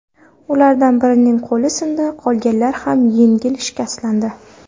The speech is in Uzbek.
Ulardan birining qo‘li sindi, qolganlar ham yengil shikastlandi.